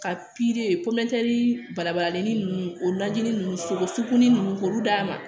Ka balabalalen ninnu o lajɛli ninnu sogo sukunɛ ninnu k'olu d'a ma